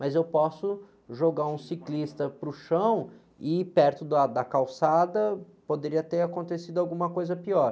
Mas eu posso jogar um ciclista para o chão e ir perto do, a, da calçada, poderia ter acontecido alguma coisa pior.